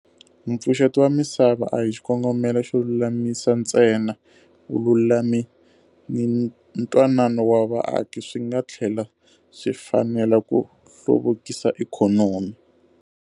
Mpfuxeto wa misava a hi xikongomelo xo lulamisa ntsena, vululami ni ntwanano wa vaaki. Swi nga tlhela swi fanela ku hluvukisa ikhonomi.